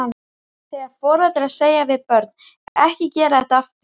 Þegar foreldrar segja við börn, ekki gera þetta aftur?